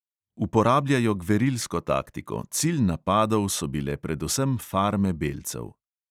Uporabljajo gverilsko taktiko, cilj napadov so bile predvsem farme belcev.